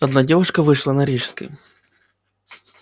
одна девушка вышла на рижской